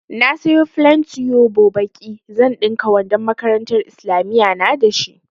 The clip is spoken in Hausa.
Na sayo flen tuyobo baƙi, zan ɗinka wandon makarantar islamiyya na da shi.